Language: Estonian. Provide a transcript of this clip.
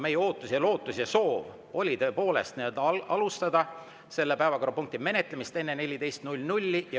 Meie ootus ja lootus ja soov oli tõepoolest alustada selle päevakorrapunkti menetlemist enne kella 14.